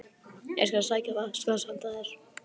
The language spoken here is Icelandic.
Ég skal sækja vatnsglas handa þér